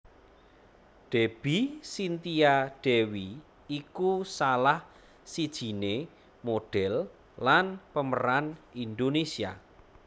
Debby Cynthia Dewi iku salah sijiné modhél lan pemeran Indonesia